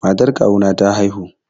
Matar kawu na ta haihu.